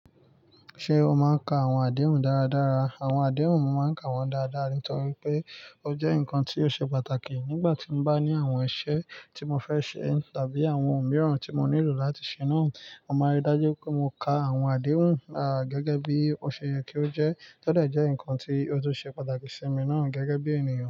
Ṣé o máa ń ka àwọn àdéhùn dáradára? Àwọn àdéhùn mo máa ń ka wọ́n dáadáa, nítorí pé ó jẹ́ nǹkan tí ó ṣe pàtàkì nígbà tí mo bá ní àwọn iṣẹ́ tí mo fẹ́ ṣe tàbí àwọn ohun mìíràn tí mo nílò láti ṣe náà. Mo máa rí dájú pé mo ka àwọn àdéhùn náà gẹ́gẹ́ bí ó ṣe yẹ kí ó jẹ́ tọ́de jẹ́ nǹkan tí ó tún ṣe pàtàkì sí mi náà gẹ́gẹ́ bí ènìyàn.